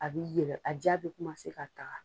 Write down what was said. A bi yɛlɛ a jaa bɛ ka taga.